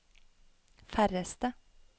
færreste